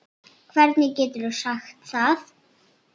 Hvernig geturðu sagt það?